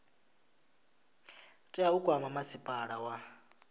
tea u kwama masipala wa